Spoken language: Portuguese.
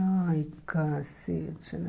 Ai, cacete, né?